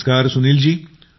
नमस्कार सुनीलजी